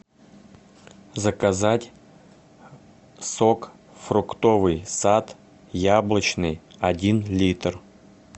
заказать сок фруктовый сад яблочный один литр